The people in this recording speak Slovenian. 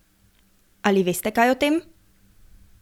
Ali veste kaj o tem?